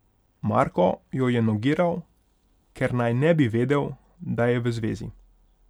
Marko jo je nogiral, ker naj ne bi vedel, da je v zvezi.